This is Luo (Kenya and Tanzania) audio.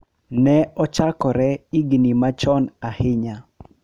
Ne ochakore higni machon ahinya.